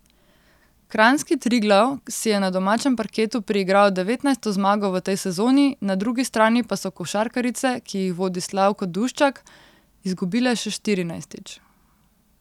Kranjski Triglav si je na domačem parketu priigral devetnajsto zmago v tej sezoni, na drugi strani pa so košarkarice, ki jih vodi Slavko Duščak, izgubile še štirinajstič.